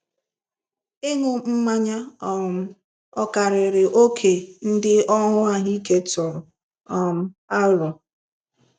Ịṅụ mmanya um ọ̀ karịrị oke ndị ọrụ ahụike tụrụ um aro?